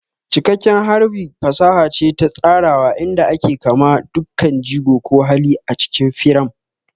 Cikakken harbi fasaha ce ta tsarawa inda aka kama dukkan jigo ko hali a cikin firam.